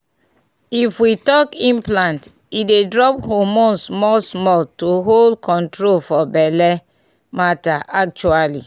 if we talk implant e dey drop hormone small-small — to hold ( small pause) control for belle matter actually.